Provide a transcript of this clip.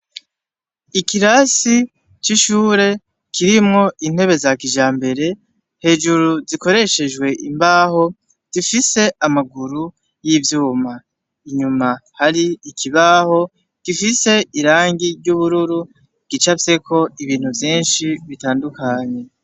Ikirasi c'ishure kirimwo intebe za kijambere hejuru zikoreshejwe imbaho zifise amaguru y'ivyuma, inyuma hari ikibaho gifise irangi ry'ubururu gicafyeko ibintu vyinshi bitandukanye.